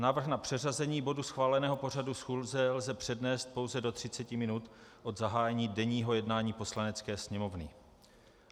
Návrh na přeřazení bodu schváleného pořadu schůze lze přednést pouze do 30 minut od zahájení denního jednání Poslanecké sněmovny.